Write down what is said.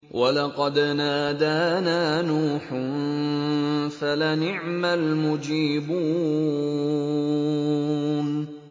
وَلَقَدْ نَادَانَا نُوحٌ فَلَنِعْمَ الْمُجِيبُونَ